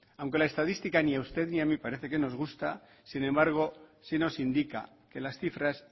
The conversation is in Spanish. aunque la estadística ni a usted ni a mí parece que nos gusta sin embargo sí nos indica que las cifras